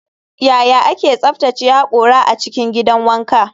Yaya ake tsaftace hakora a cikin gidan wanka?